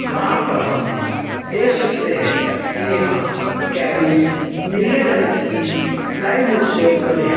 जहां पर हम देख सकते है कि यहां कैबिज नीले रंग की प्लाईवुड से बने हैं।